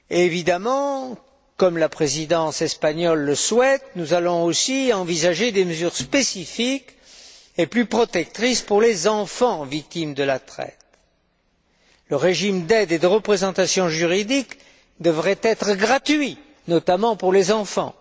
Évidemment, comme la Présidence espagnole le souhaite, nous allons aussi envisager des mesures spécifiques et plus protectrices pour les enfants victimes de la traite. Le régime d'aide et de représentation juridique devrait être gratuit, notamment pour les enfants.